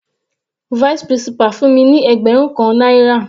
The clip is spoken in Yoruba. Vice principal fún mi ní ẹgbẹrun kan náírà.